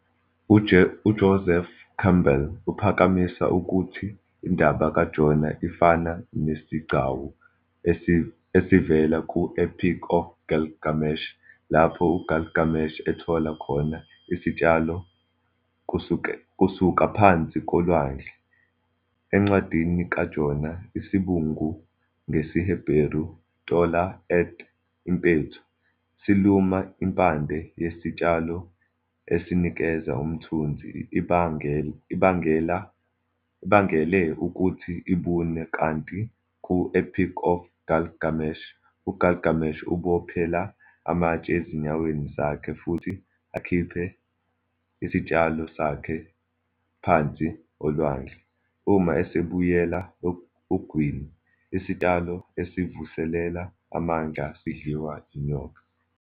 UJoseph Campbell uphakamisa ukuthi indaba kaJona ifana nesigcawu esivela ku- "Epic of Gilgamesh", lapho uGilgamesh athola khona isitshalo kusuka phansi kolwandle. Encwadini kaJona, isibungu, ngesiHeberu "tola'ath", "impethu", siluma impande yesitshalo esinikeza umthunzi ibangele ukuthi ibune, kanti ku- "Epic of Gilgamesh", uGilgamesh ubophela amatshe ezinyaweni zakhe futhi akhiphe isitshalo sakhe phansi olwandle. Uma esebuyela ogwini, isitshalo esivuselela amandla sidliwa yinyoka.